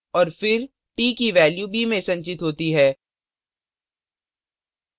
और फिर t की value b में संचित होती है